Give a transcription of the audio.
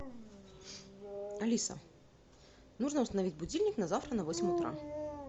алиса нужно установить будильник на завтра на восемь утра